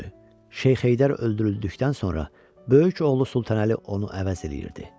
Şeyx Heydər öldürüldükdən sonra böyük oğlu Sultanəli onu əvəz eləyirdi.